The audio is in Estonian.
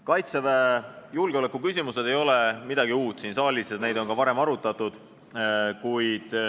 Kaitseväe julgeoleku küsimused ei ole siin saalis midagi uut, neid on ka varem arutatud.